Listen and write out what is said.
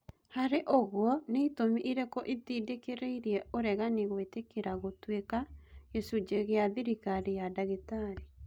Harĩ ũguo, nĩ-itũmi irĩkũ itindĩkĩrĩirie ũregani gũĩtĩkĩra gũtuĩka gĩcunje gĩa thĩrikari ya Ndagitari.